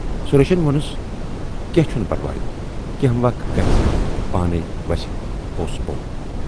سُریشن وونس"کینہہ چھُنہٕ پَرواے۔ کینہہ وَق گژھِ تہٕ پانے وسہِ پوس بۅن۔